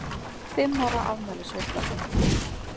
Fimm ára afmælisveisla.